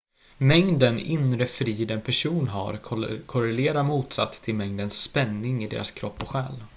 mängden inre frid en person har korrelerar motsatt till mängden spänning i deras kropp och själ